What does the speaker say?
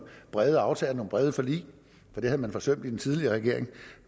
brede aftaler nogle brede forlig for det har man forsømt i den tidligere regering